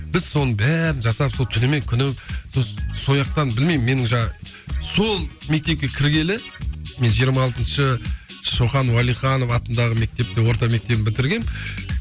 біз соның бәрін жасап сол түнімен күні сояқтан білмеймін мен жаңағы сол мектепке кіргелі мен жиырма алтыншы шоқан уалиханов атындағы мектепте орта мектебін бітіргенмін